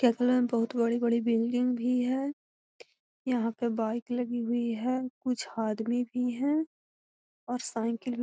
केतना बड़ी-बड़ी बिल्डिंग भी है यहां पर बाइक लगी हुई है कुछ आदमी भी है और साइकिल भी ।